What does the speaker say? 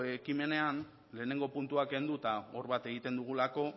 ekimenean lehenengo puntua kenduta hor bat egiten dugulako